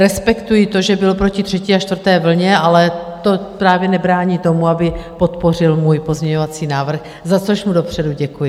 Respektuji to, že byl proti třetí a čtvrté vlně, ale to právě nebrání tomu, aby podpořil můj pozměňovací návrh, za což mu dopředu děkuji.